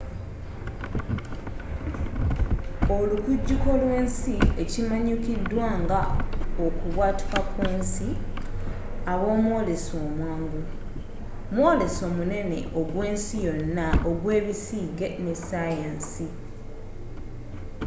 olukujjuko lw’ensi ekimanyikiddwa nga okubwatuka kwensi obaomwoleso omwangu mwoleso munene ogwensi yonna ogw’ebisiige ne sayansi